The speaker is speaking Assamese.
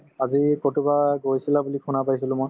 আজি কৰবাত গৈছিলা বুলি শুনা পাইছিলো মই